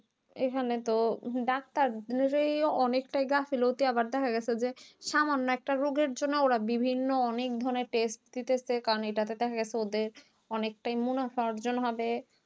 এখানে তো ডাক্তার ধরেই অনেকটা গাফিলতি আবার দেখা গেছেযে সামান্য একটা রোগের জন্য ওরা বিভিন্ন অনেক ধরণের test দিতাছে কারণ এটাতে দেখাগেছে ওদের অনেকটাই মুনাফা অর্জন হবে